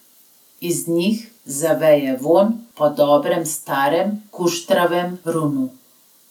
Iz njih zaveje vonj po dobrem starem kuštravem Runu.